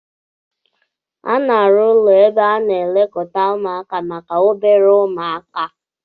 A na-arụ ụlọ ebe a na-elekọta ụmụaka maka obere umuaka